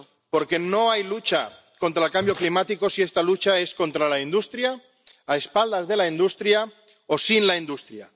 Porque no hay lucha contra el cambio climático si se lucha contra la industria, a espaldas de la industria o sin la industria.